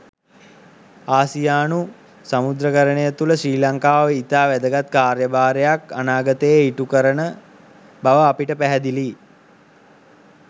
ආසියානු සමුද්‍රකරණය තුළ ශ්‍රී ලංකාව ඉතා වැදගත් කාර්යභාරයක් අනාගතයේ ඉටු කරන බව අපට පැහැදිලියි.